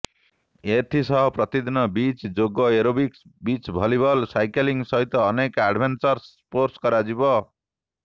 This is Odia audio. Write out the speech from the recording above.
ଏଥିସହ ପ୍ରତିଦିନ ବିଚ୍ ଯୋଗ ଏରୋବିକ୍ସ ବିଚ୍ ଭଲିବଲ ସାଇକେଲିଂ ସହିତ ଅନେକ ଆଡଭେନ୍ଚରସ୍ ସ୍କୋର୍ଟସ କରାଯିବ